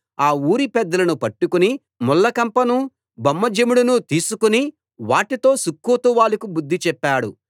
ఆ ఊరిపెద్దలను పట్టుకుని ముళ్ళకంపను బొమ్మజెముడును తీసుకు వాటితో సుక్కోతు వాళ్ళకు బుద్ధి చెప్పాడు